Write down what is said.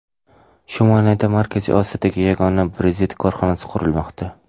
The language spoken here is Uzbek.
Shumanayda Markaziy Osiyodagi yagona brezent korxonasi qurilmoqda.